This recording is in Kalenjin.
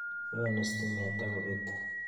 Yoni stimet ak kobete.